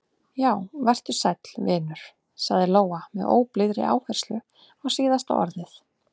Já, vertu sæll, vinur, sagði Lóa með óblíðri áherslu á síðasta orðið.